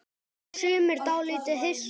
Og sumir dálítið hissa?